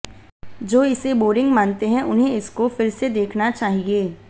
जो इसे बोरिंग मानते है उन्हें इसको फिर से देखना चाहिये